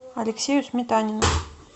алексею сметанину